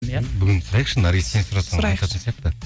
иә бүгін сұрайықшы наргиз сен сұрасаң айтатын сияқты